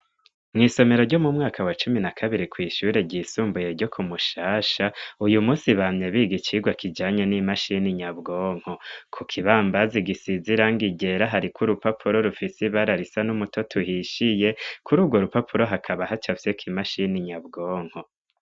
Mw'isomero ryo mu mwaka wa cumi na kabiri kw'ishure ryisumbuye ryo kumushasha uyu musi bamye b'igicirwa kijanya n'imashini nyabwonko ku kibambazi gisizirango igera hariko urupapuro rufise i bararisa n'umutoto uhishiye kuri urwo rupapuro hakaba hacavyeko imashini nyabwonko.